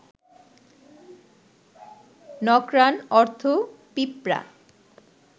নক্রান অর্থ পিঁপড়া